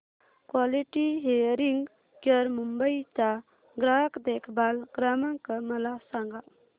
quality hearing care Mumbai चा ग्राहक देखभाल क्रमांक मला सांगा